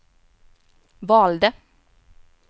valde